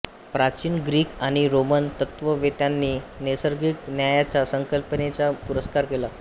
प्राचीन ग्रीक आणि रोमन तत्त्ववेत्त्यांनी नैसर्गिक न्यायाच्या संकल्पनेचा पुरस्कार केला